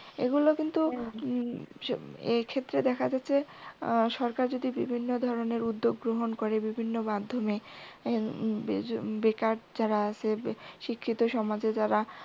এগুলো কিন্তু উম এক্ষেত্রে দেখা যাচ্ছে সরকার যদি বিভিন্ন ধরনের উদ্যোগ গ্রহন করে বিভিন্ন মাধ্যমে বেকার যারা আছে শিক্ষিত সমাজে যারা